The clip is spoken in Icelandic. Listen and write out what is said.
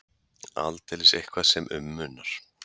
Aldeilis eitthvað sem um munar.